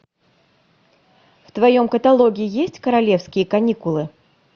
в твоем каталоге есть королевские каникулы